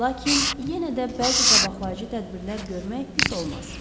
Lakin yenə də bəzi qabaqlayıcı tədbirlər görmək pis olmaz.